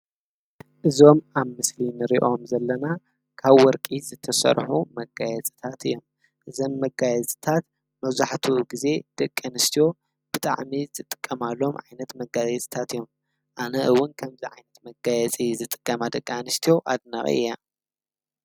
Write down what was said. እዞም ኣብ ምስሊን ርእኦም ዘለና ካብ ወርቂ ዝተሠርሑ መጋየጽታት እዮም እዘም መጋየ ጽታት መዙሕቱ ጊዜ ደቀንስትዮ ብጥዕሚ ዝጥቀማሎም ዓይነት መጋይ ጽታት እዮም ።ኣነ እውን ከምዝ ዓይነት መጋየፂ ዝጥቀማ ደቃ ኣንስትዮ ኣድናቒ እያ።